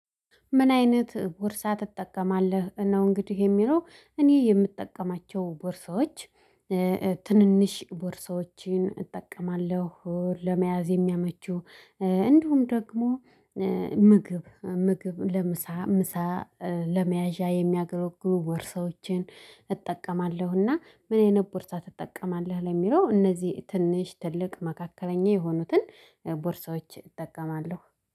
ምን አይነት ቦርሳ ትጠቀማለህ ነው? እንግዲህ የሚለው እኔ የምጠቀማቸው ቦርሳዎች። ትንንሽ ቦርሳዎችን እጠቀማለሁ ለመያዝ የሚያመቹ። እንዲሁም ደግሞ ምግብ ምግብ ለምሳ ምሳ። ለመያዣ የሚያገለግሉ ቦርሳዎችን እጠቀማለሁና። ምን አይነት ቦርሳ ትጠቀማለህ? ለሚለው እነዚህ ትንሽ ትልቅ መካከለኛ የሆኑትን ቦርሳዎች እጠቀማለሁ